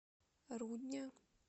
рудня